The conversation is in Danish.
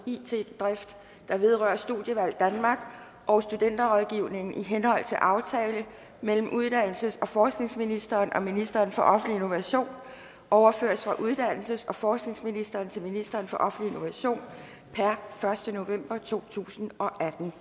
it drift der vedrører studievalg danmark og studenterrådgivningen i henhold til aftale mellem uddannelses og forskningsministeren og ministeren for offentlig innovation overføres fra uddannelses og forskningsministeren til ministeren for offentlig innovation per første november to tusind og atten